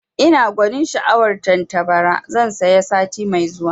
Ina gwanin sha'awar tattabara, zan saya sati mai zuwa